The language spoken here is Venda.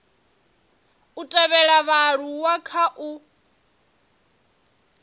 u thivhela vhaaluwa kha u